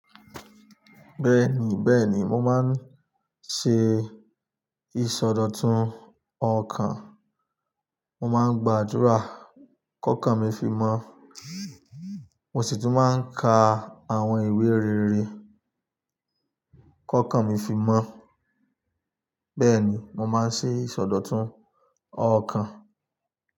Bẹ́ẹ̀ni, bẹ́ẹ̀ni, mo máa ń ṣe ìsọdọ̀tun ọkàn. Mo máa ń gbàdúrà kó kan mi fi mọ́, mo sì tún máa ń ka àwọn ìwé rere kó kan mi fi mọ́. Bẹ́ẹ̀ni, mo máa ń ṣe ìsọdọ̀tun ọkàn.